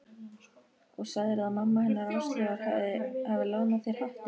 Og sagðirðu að amma hennar Áslaugar hafi lánað þér hattinn?